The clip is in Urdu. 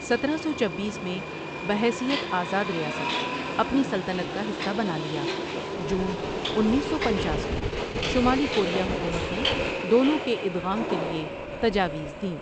سترہ سو چبیس میں بحیثیت آزاد ریاست اپنی سلطنت کا حصہ بنا لیا جون انیس سو پنچاس میں شمالی کوریا حکومت نے دونوں کے ادغام کے لیے تجاویز دیں ۔